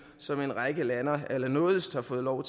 som en række lande allernådigst har fået lov